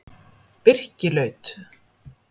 Birkilaut